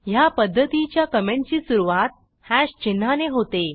ह्या पध्दतीच्या कॉमेंटची सुरूवात हॅश चिन्हाने होते